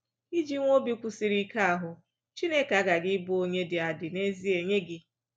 Iji nwee obi kwụsịrị ike ahụ, Chineke aghaghị ịbụ onye dị adị n’ezie nye gị!